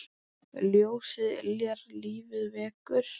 Ljósið yljar lífið vekur.